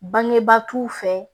Bangebaa t'u fɛ